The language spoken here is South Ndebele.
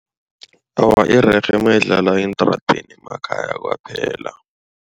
Awa irerhe nayidlalwa entradeni emakhaya kwaphela.